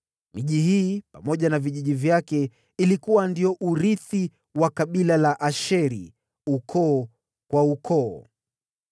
Miji hii pamoja na vijiji vyake ilikuwa ndio urithi wa kabila la Asheri, ukoo kwa ukoo.